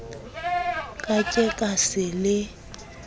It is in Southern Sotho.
ka ke ne ke le